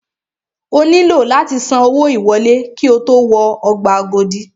O nílò láti san owó ìwọlé ki o tó wọ ọgbà Agodi.